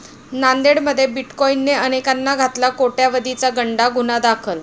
नांदेडमध्ये 'बिटकाॅईन'ने अनेकांना घातला कोट्यवधीचा गंडा, गुन्हा दाखल